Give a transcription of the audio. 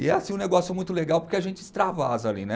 E é assim um negócio muito legal, porque a gente extravasa ali, né?